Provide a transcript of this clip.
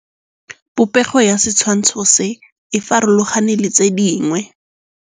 Popêgo ya setshwantshô se, e farologane le tse dingwe.